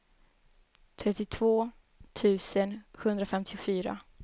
trettiotvå tusen sjuhundrafemtiofyra